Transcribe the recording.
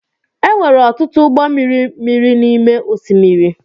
E nwere ọtụtụ ụgbọ mmiri miri n’ime osimiri